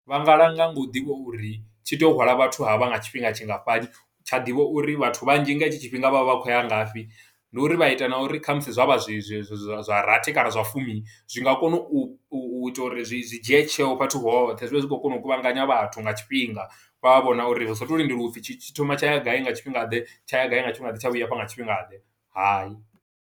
Vha nga langa ngo u ḓivha uri tshi tea u hwala vhathu havha nga tshifhinga tshingafhani, tsha ḓivha uri vhathu vhanzhi nga hetsho tshifhinga vha vha vha khou ya ngafhi. Ndi uri vha ita na uri khamusi zwa vha zwi zwi zwa zwa rathi, kana zwa fumi, zwi nga kono u ita uri zwi zwi dzhie tsheo fhethu hoṱhe. Zwi vhe zwi khou kona u kuvhanganya vhathu nga tshifhinga, vha vha vhona uri hu sa tou lindela u pfi tshi tshi thoma tsha ya gai nga tshifhingaḓe, tsha ya gai nga tshifhinga ḓe, tsha vhuya a fha nga tshifhinga ḓe, hai.